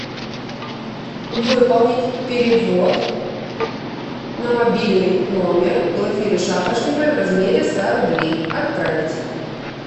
выполнить перевод на мобильный номер глафиры шапошниковой в размере ста рублей отправить